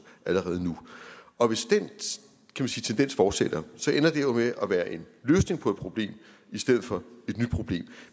allerede nu og hvis den tendens fortsætter ender det jo med at være en løsning på et problem i stedet for et nyt problem